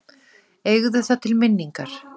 Eigðu það til minningar.